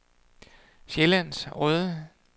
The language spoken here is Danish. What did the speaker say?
Sjællands Odde